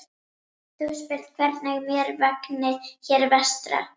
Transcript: Þú spyrð hvernig mér vegni hér vestra.